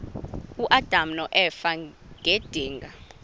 uadam noeva ngedinga